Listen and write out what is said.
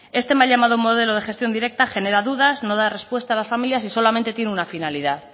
este mal llamado modelo de gestión directa genera dudas no da respuesta a las familias y solamente tiene una finalidad